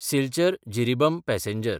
सिल्चर–जिरिबम passenger